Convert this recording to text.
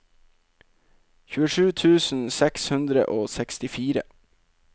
tjuesju tusen seks hundre og sekstifire